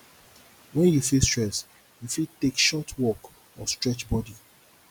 when you feel stress you fit take short walk or stretch body